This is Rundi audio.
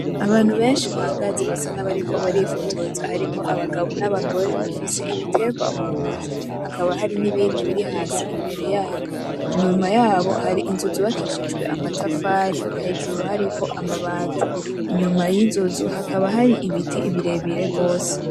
Abantu benshi bahagaze basa nabariko barifotoza, bafise ibitegwa mu ntoki hakaba hari n'ibindi biri hasi imbere yabo, inyuma habo hari inzu zubakishijwe amatafari hejuru hariho amabati, inyuma yizo nzu hakaba hari ibiti birebire gose.